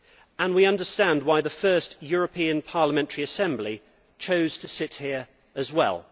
And we understand why the first European parliamentary assembly chose to sit here as well.